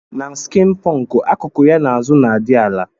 Na skin punk akuku ya na azu na adi ala.